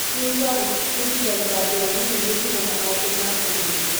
Kũrua gũbundithagia andũ anini mitugo na maũndũ ma ũgima.